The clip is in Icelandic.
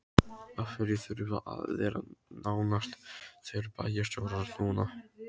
Af hverju þurfa að vera nánast tveir bæjarstjórar núna?